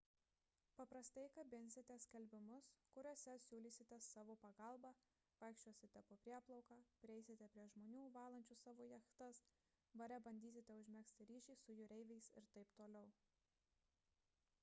paprastai kabinsite skelbimus kuriuose siūlysite savo pagalbą vaikščiosite po prieplauką prieisite prie žmonių valančių savo jachtas bare bandysite užmegzti ryšį su jūreiviais ir t t